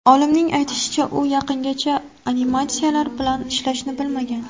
Olimning aytishicha, u yaqingacha animatsiyalar bilan ishlashni bilmagan.